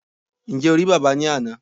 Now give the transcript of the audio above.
Ǹjẹ́ o rí bábà ní àná?